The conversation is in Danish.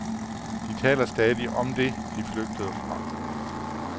De taler stadig om det, de flygtede fra.